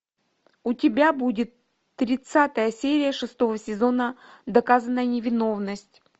у тебя будет тридцатая серия шестого сезона доказанная невиновность